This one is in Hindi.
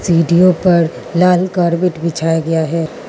सीढ़ियों पर लाल कॉर्बेट बिछाया गया है।